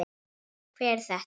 Hver er þetta?